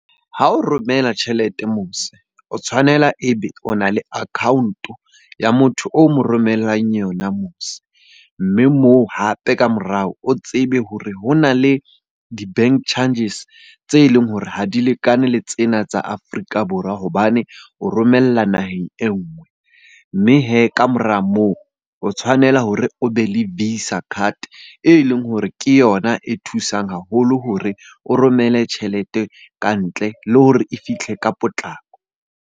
Ha o romela tjhelete mose o tshwanela ebe o na le account-o ya motho o mo romellang yona mose. Mme moo hape ka morao o tsebe hore ho na le di-bank charges tse leng hore ha di lekane le tsena tsa Afrika Borwa hobane o romella naheng e nngwe. Mme hee ka mora moo o tshwanela hore o be le visa card e leng hore ke yona e thusang haholo hore o romelle tjhelete ka ntle, le hore e fihle ka potlako.